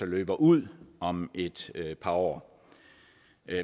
løber ud om et par år